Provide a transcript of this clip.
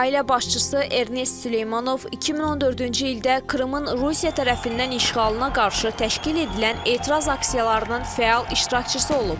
Ailə başçısı Ernest Süleymanov 2014-cü ildə Krımın Rusiya tərəfindən işğalına qarşı təşkil edilən etiraz aksiyalarının fəal iştirakçısı olub.